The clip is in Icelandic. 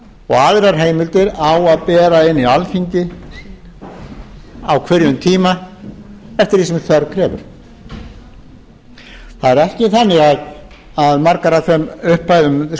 og aðrar heimildir á að bera inn í alþingi á hverjum tíma eftir því sem þörf krefur það er ekki þannig að margar af þeim upphæðum